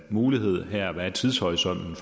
mulighed her og hvad tidshorisonten